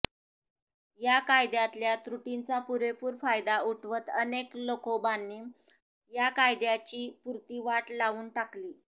या काद्यातल्या त्रुटीचा पुरेपूर फायदा उठवत अनेक लखोबांनी या कायद्याची पुरती वाट लावून टाकली